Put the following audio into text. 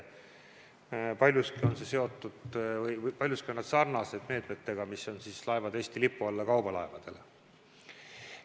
Paljuski on need abinõud sarnased meetmetega, mis on Eesti lipu all sõitvatel kaubalaevadel.